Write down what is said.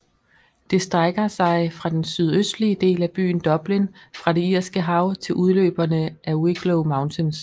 Det strækker sig fra den sydøstlige del af byen Dublin fra det Irske Hav til udløberne af Wicklow Mountains